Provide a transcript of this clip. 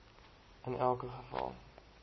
in elke geval